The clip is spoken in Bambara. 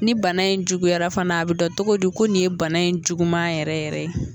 Ni bana in juguyara fana a bɛ dɔn cogo di ko nin ye bana in juguman yɛrɛ yɛrɛ ye.